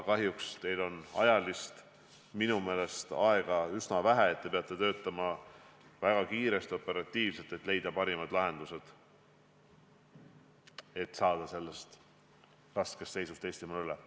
Kahjuks on teil minu meelest üsna vähe aega, mistõttu te peate töötama väga kiiresti, operatiivselt, et leida parimad lahendused ja saada sellest raskest seisust Eestimaal üle.